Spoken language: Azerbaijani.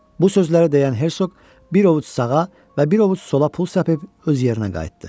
Bu sözləri deyən Hersoq bir ovuc sağa və bir ovuc sola pul səpib öz yerinə qayıtdı.